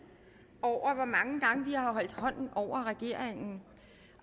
over hvor mange gange vi har holdt hånden over regeringen